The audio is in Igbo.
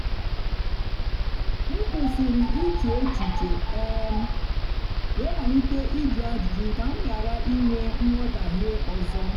m kwụsịrị iche echiche um wee malite ịjụ ajụjụ ka m ghara inwe nghọtahie ọzọ.